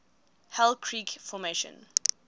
hell creek formation